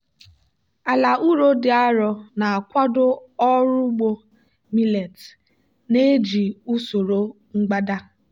ala ụrọ dị arọ na-akwado ọrụ ugbo millet na-eji usoro mgbada.